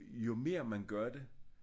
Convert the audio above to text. Jo mere man gør det